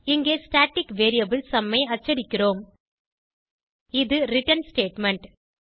இங்கே static variable sum ஐ அச்சடிக்கிறோம் இது ரிட்டர்ன் ஸ்டேட்மெண்ட்